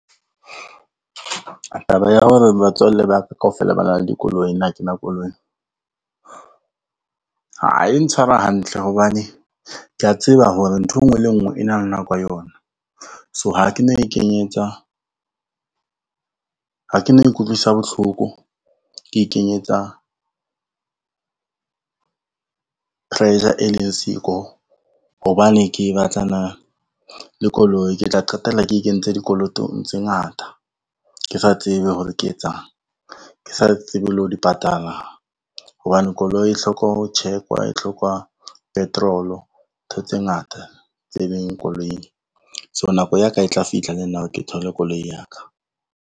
Taba ya hore batswalle ba ka kaofela ba nang le dikoloi nna ha ke na koloi, ha e ntshware hantle hobane kea tseba hore nthwe ngwe le ngwe e na le nako ya yona. So ha ke no ikutlwisa bohloko ke ikenyetsa pressure e leng siko, hobane ke batlana le koloi ke tla qetella ke ikentse dikolotong tse ngata, ke sa tsebe hore ke e etsang, ke sa tsebe le ho di patala hobane koloi e hloka ho check-wa, e hloka petrol-o ntho tse ngata tse leng koloing. So nako ya ka e tla fihla le nna ke thole koloi ya ka.